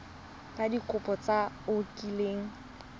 ka dikopo tse o kileng